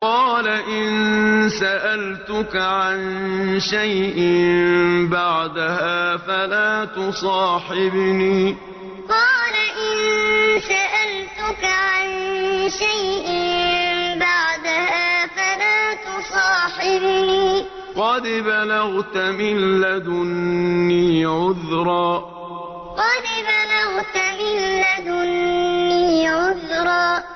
قَالَ إِن سَأَلْتُكَ عَن شَيْءٍ بَعْدَهَا فَلَا تُصَاحِبْنِي ۖ قَدْ بَلَغْتَ مِن لَّدُنِّي عُذْرًا قَالَ إِن سَأَلْتُكَ عَن شَيْءٍ بَعْدَهَا فَلَا تُصَاحِبْنِي ۖ قَدْ بَلَغْتَ مِن لَّدُنِّي عُذْرًا